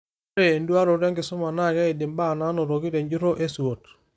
Ore enduaroto enkisuma naa keid imbaa naanotoki te njurro e SWOT.